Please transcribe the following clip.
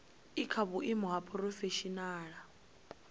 i kha vhuimo ha phurofeshinala